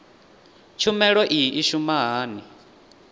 tshumelo iyi i shuma hani